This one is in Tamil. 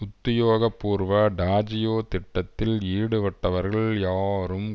உத்தியோக பூர்வ டாஜியோ திட்டத்தில் ஈடுபட்டவர்கள் யாரும்